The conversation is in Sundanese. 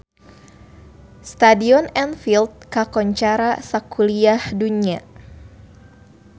Stadion Anfield kakoncara sakuliah dunya